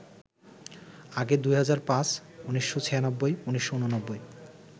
আগে ২০০৫, ১৯৯৬, ১৯৮৯